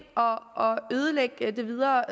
og og ødelægge det videre